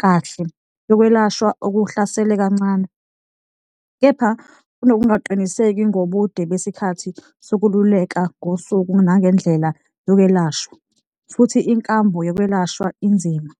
kahle, yokwelashwa okuhlasela kancane, kepha kunokungaqiniseki ngobude besikhathi sokululeka ngosuku nangendlela yokwelashwa, futhi inkambo yokwelashwa inzima.